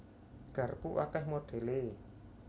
Garpu akèh modhèlé